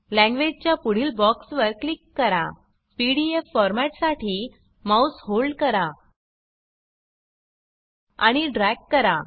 language च्या पुढील box वर क्लिक करा पीडीएफ फॉर्मॅट साठी माउस होल्ड करा आणि ड्रॅग करा